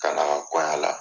kɔya la.